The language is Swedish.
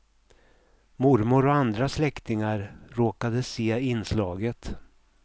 Mormor och andra släktingar råkade se inslaget.